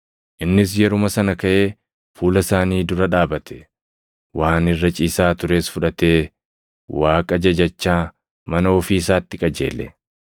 Innis yeruma sana kaʼee fuula isaanii dura dhaabate; waan irra ciisaa tures fudhatee Waaqa jajachaa mana ofii isaatti qajeele.